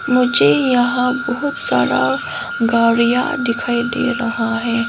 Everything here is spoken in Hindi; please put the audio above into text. मुझे यहां खूब सारा गाड़ियां दिखाई दे रहा है।